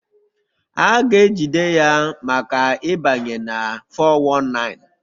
A ga-ejide ya maka ịbanye na 419